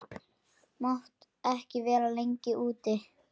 mátt ekki vera lengi úti.